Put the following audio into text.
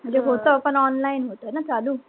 म्हणजे होत पण online होत न चालू?